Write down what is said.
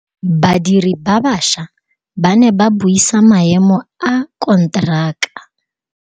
Badiri ba baša ba ne ba buisa maêmô a konteraka.